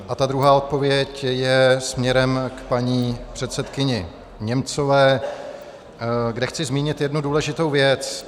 A ta druhá odpověď je směrem k paní předsedkyni Němcové, kde chci zmínit jednu důležitou věc.